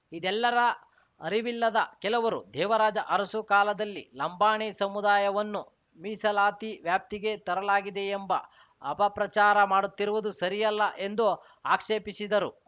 ಇದೆಲ್ಲರ ಅರಿವಿಲ್ಲದ ಕೆಲವರು ದೇವರಾಜ ಅರಸು ಕಾಲದಲ್ಲಿ ಲಂಬಾಣಿ ಸಮುದಾಯವನ್ನು ಮೀಸಲಾತಿ ವ್ಯಾಪ್ತಿಗೆ ತರಲಾಗಿದೆಯೆಂಬ ಅಪಪ್ರಚಾರ ಮಾಡುತ್ತಿರುವುದು ಸರಿಯಲ್ಲ ಎಂದು ಆಕ್ಷೇಪಿಸಿದರು